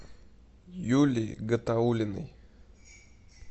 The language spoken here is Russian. юлии гатауллиной